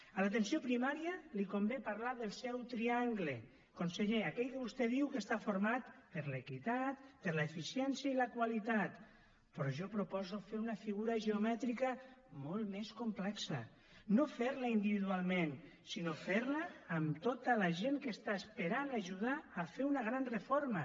a l’atenció primària li convé parlar del seu triangle conseller aquell que vostè diu que està format per l’equitat per l’eficiència i la qualitat però jo proposo fer una figura geomètrica molt més complexa no fer la individualment sinó fer la amb tota la gent que està esperant a ajudar a fer una gran reforma